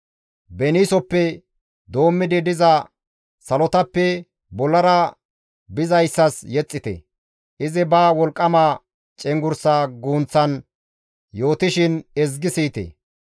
Beniisoppe doommidi diza salotappe bollara bizayssas yexxite; izi ba wolqqama cenggurssa guunththan yootishin ezgi siyite.